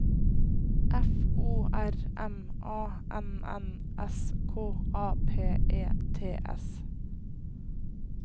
F O R M A N N S K A P E T S